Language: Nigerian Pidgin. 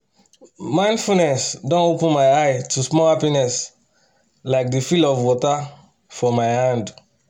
mindfulness dey open my eye to small happiness like the feel of water for my hand.